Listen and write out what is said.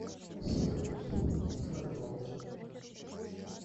салют играй голден